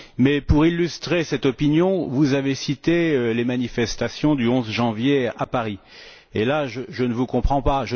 Mais pour illustrer cette opinion, vous avez cité les manifestations du 11 janvier à Paris et là, je ne vous comprends pas.